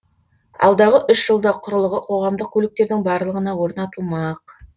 алдағы үш жылда құрылғы қоғамдық көліктердің барлығына орнатылмақ